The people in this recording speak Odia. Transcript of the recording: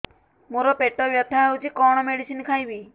ମୋର ପେଟ ବ୍ୟଥା ହଉଚି କଣ ମେଡିସିନ ଖାଇବି